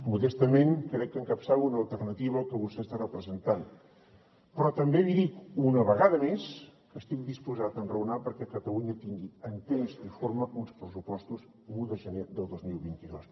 modestament crec que encapçalo una alternativa al que vostè està representant però també li dic una vegada més que estic disposat a enraonar perquè catalunya tingui en temps i forma uns pressupostos l’un de gener del dos mil vint dos